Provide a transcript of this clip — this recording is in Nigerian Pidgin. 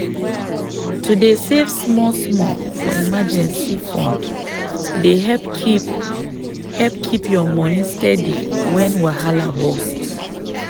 to dey save small-small for emergency fund dey help keep help keep your money steady when wahala burst.